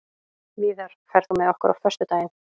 Víðar, ferð þú með okkur á föstudaginn?